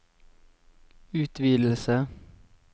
utvidelse